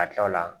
Ka kila o la